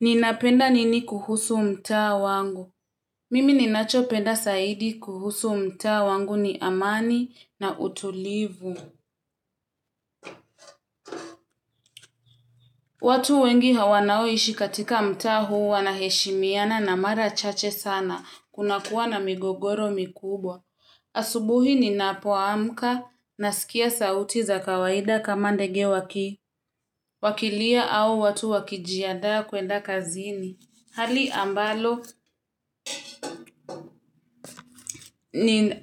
Ninapenda nini kuhusu mta wangu. Mimi ninachopenda zaidi kuhusu mta wangu ni amani na utulivu. Watu wengi wanaoishi katika mta huu wanaheshimiana na mara chache sana. Kuna kuwa na migogoro mikubwa. Asubuhi ninapoamka na sikia sauti za kawaida kama ndege waki. Wakilia au watu wakijianda kwenda kazini. Hali